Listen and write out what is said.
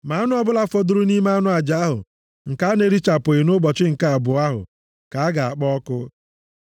Ma anụ ọbụla fọdụrụ nʼime anụ aja ahụ, nke a na-erichapụghị nʼụbọchị nke abụọ ahụ ka a ga-akpọ ọkụ.